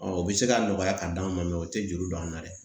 o bɛ se ka nɔgɔya ka d'a ma o tɛ joli don an na dɛ